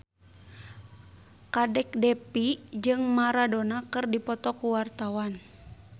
Kadek Devi jeung Maradona keur dipoto ku wartawan